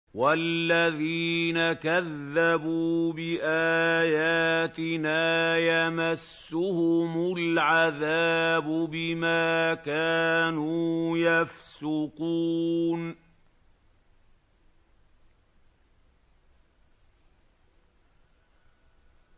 وَالَّذِينَ كَذَّبُوا بِآيَاتِنَا يَمَسُّهُمُ الْعَذَابُ بِمَا كَانُوا يَفْسُقُونَ